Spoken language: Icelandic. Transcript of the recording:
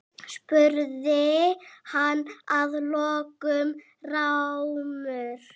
spurði hann að lokum rámur.